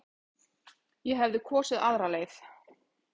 Ég hefði kosið aðra leið.